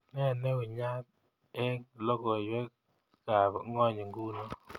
Ne neungat eng logoywekab ngony nguno